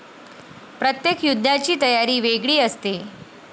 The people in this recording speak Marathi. प्रत्येक युद्धाची तयारी वेगळी असते.